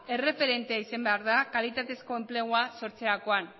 erreferente izan behar da kalitatezko enplegua sortzerakoan